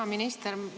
Hea minister!